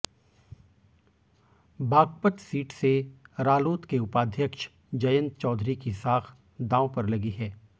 Baghpat seat से रालोद के उपाध्यक्ष जयंत चौधरी की साख दांव पर लगी है